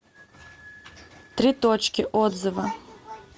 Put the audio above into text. три точки отзывы